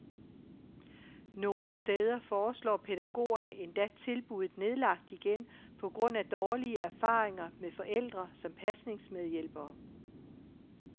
Nogle steder foreslår pædagogerne endda tilbuddet nedlagt igen på grund af dårlige erfaringer med forældre som pasningsmedhjælpere.